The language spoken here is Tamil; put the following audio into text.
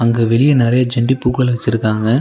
இங்க வெளிய நறைய செண்டிப்பூக்கள் வெச்சுருக்காங்க.